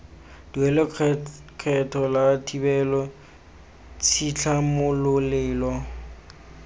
duela lekgetho la thibelo tshitlhamololelo